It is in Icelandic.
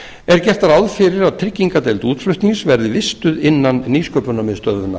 er gert ráð fyrir að tryggingardeild útflutnings verði vistuð innan nýsköpunarmiðstöðvar